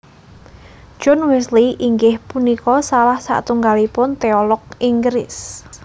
John Wesley inggih punika salah satunggalipun teolog Inggris